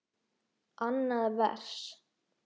Annað vers.